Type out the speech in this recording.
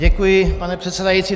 Děkuji, pane předsedající.